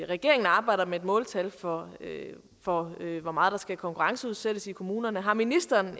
regeringen arbejder med et måltal for for hvor meget der skal konkurrenceudsættes i kommunerne har ministeren